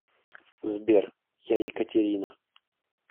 сбер я екатерина